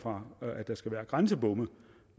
fra at der skal være grænsebomme